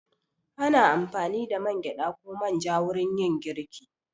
Ana amfani da man gyaɗa ko man ja wurin yin girki.